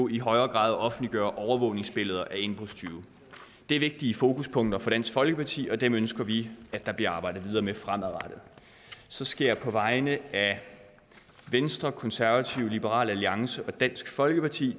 i højere grad at offentliggøre overvågningsbilleder af indbrudstyve det er vigtige fokuspunkter for dansk folkeparti og dem ønsker vi at der bliver arbejdet videre med fremadrettet så skal jeg på vegne af venstre konservative liberal alliance og dansk folkeparti